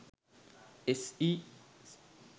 se